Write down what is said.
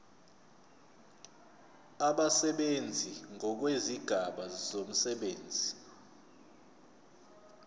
abasebenzi ngokwezigaba zomsebenzi